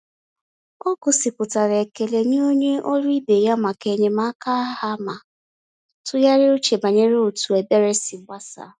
Ọ gosipụtara ekele nye onye ọrụ ibe ya maka enyemaka ha ma tụgharịa uche banyere otu ebere si gbasaa.